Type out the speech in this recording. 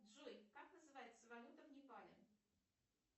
джой как называется валюта в непале